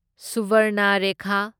Subarnarekha